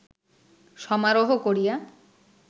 সমারোহ করিয়া